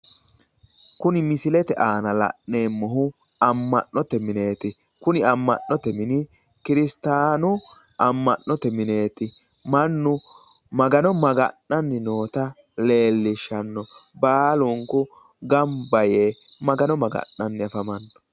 Kuni misilete aana la'neemmohu amma'note mineeti. kuni amma'note mini kiristaanu amma'note mineeti, mannu Magano maga'nanni noota lellishshanno baalu gamba yee Magano maga'nanni afamano.